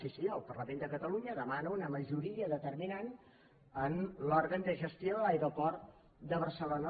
sí sí el parlament de catalunya demana una majoria determinant en l’òrgan de gestió de l’aeroport de barcelona